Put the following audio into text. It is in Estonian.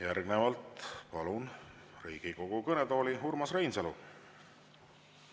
Järgnevalt palun Riigikogu kõnetooli Urmas Reinsalu.